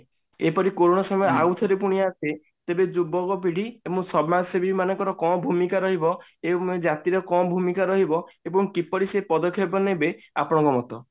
ଏପରି କୋରୋନା ସମୟ ଆଉଥରେ ପୁଣି ଆସେ ତେବେ ଯୁବକ ପିଢୀ ଏବଂ ସମାଜସେବି ମାନଙ୍କର କଣ ଭୂମିକା ରହିବ ଏବଂ ଏ ଜାତିର କଣ ଭୂମିକା ରହିବ ଏବଂ କିପରି ସେ ପଦକ୍ଷେପ ନେବେ ଆପଣଙ୍କ ମତ